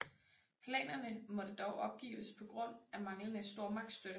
Planerne måtte dog opgives på grund af manglende stormagtsstøtte